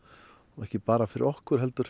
ekki bara fyrir okkur heldur